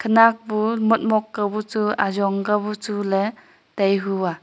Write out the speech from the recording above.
khanak bu motmok kabu chu ajong kabu chuley tai hua.